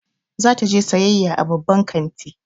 Za ta je sayayya a babban kanti.